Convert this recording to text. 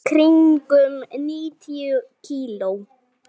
Bænir aftra mér ekki.